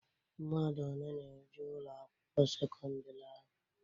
Mmadụ one na-eje Ụlọ akwụkwọ sekọndrị ahụ?